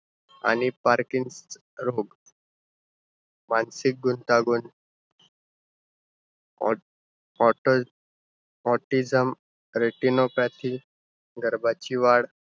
आणि parkinson मानसिक गुंतागुंत, otm~ otizm retinopathic गर्भाची वाढ.